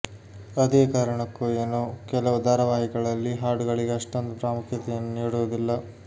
ಅದೇ ಕಾರಣಕ್ಕೊ ಏನೋ ಕೆಲವು ಧಾರಾವಾಹಿಗಳಲ್ಲಿ ಹಾಡುಗಳಿಗೆ ಅಷ್ಟೊಂದು ಪ್ರಾಮುಖ್ಯತೆಯನ್ನು ನೀಡುವುದಿಲ್ಲ